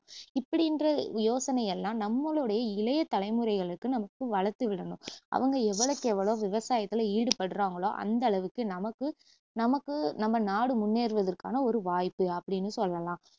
இப்புடின்ற யோசனையெல்லாம் நம்மளுடைய இளைய தலைமுறைகளுக்கு நமக்கு வளர்த்துவிடணும் அவங்க எவ்வளவுக்கெவ்ளோ விவசாத்துல ஈடுபடுறாங்களோ அந்த அளவுக்கு நமக்கு நமக்கு நம்ம நாடு முன்னேறுவதற்கான ஒரு வாய்ப்பு அப்படின்னு சொல்லலாம்